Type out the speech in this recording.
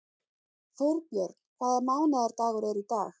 Þórbjörn, hvaða mánaðardagur er í dag?